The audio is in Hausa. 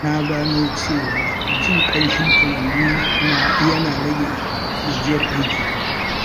Na gano cewa jin ƙamshin furanni yana rage gajiyar aiki.